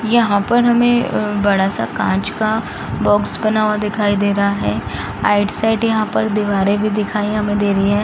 यहाँ पर हमें बड़ा सा कांच का बॉक्स बना हुआ दिखाई दे रहा है राइट साइड यहाँ पर दीवारें भी हमें दिखाई दे रही है।